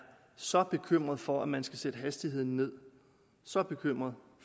så bekymret for at man skal sætte hastigheden ned så bekymret